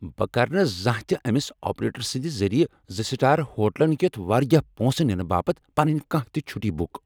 بہٕ کر نہٕ زانٛہہ تہ أس آپریٹر سٕنٛد ذٔریع زٕ سٹار ہوٹلن کیتھ واریاہ پونٛسہٕ ننہٕ باپتھ پنٕنۍ کانٛہہ تہ چھٹی بک۔